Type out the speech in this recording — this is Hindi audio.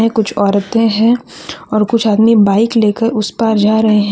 कुछ औरतें हैं और कुछ आदमी बाइक लेकर उस पार जा रहे हैं ।